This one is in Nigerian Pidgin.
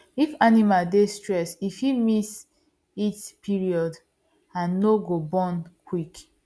if animal dey stressed e fit miss heat period and no go born quick